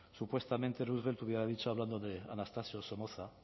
supuestamente roosevelt te hubiera dicho hablando de anastasio somoza